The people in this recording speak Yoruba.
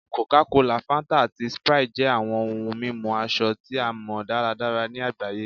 Coca-Cola, Fanta, ati Sprite jẹ awọn ohun mimu asọ ti a mọ daradara ni agbaye